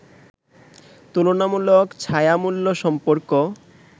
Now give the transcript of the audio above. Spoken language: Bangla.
তুলনামুলক ছায়া মূল্য সম্পর্ক